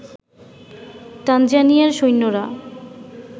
তানজানিয়ার সৈন্যরা